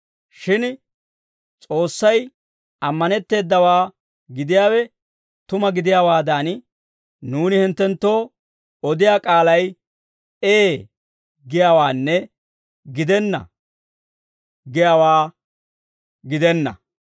Shin S'oossay ammanetteedawaa gidiyaawe tuma gidiyaawaadan, nuuni hinttenttoo odiyaa k'aalay «Ee» giyaawaanne «Gidenna» giyaawaa gidenna.